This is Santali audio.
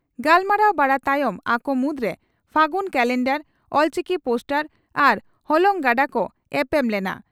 ᱜᱟᱞᱢᱟᱨᱟᱣ ᱵᱟᱲᱟ ᱛᱟᱭᱚᱢ ᱟᱠᱚ ᱢᱩᱫᱽᱨᱮ ᱯᱷᱟᱹᱜᱩᱱ ᱠᱟᱞᱮᱱᱰᱟᱨ, ᱚᱞᱪᱤᱠᱤ ᱯᱳᱥᱴᱟᱨ ᱟᱨ ᱦᱚᱞᱚᱝ ᱜᱟᱰᱟ ᱠᱚ ᱮᱯᱮᱢ ᱞᱮᱱᱟ ᱾